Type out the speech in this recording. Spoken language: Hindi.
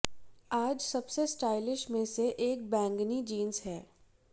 आज सबसे स्टाइलिश में से एक बैंगनी जींस हैं